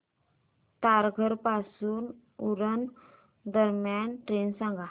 तारघर पासून उरण दरम्यान ट्रेन सांगा